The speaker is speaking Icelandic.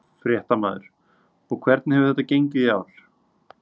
Fréttamaður: Og hvernig hefur þetta gengið í ár?